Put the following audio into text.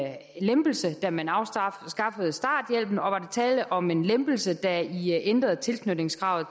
lempelse da man afskaffede starthjælpen og var der tale om en lempelse da i ændrede tilknytningskravet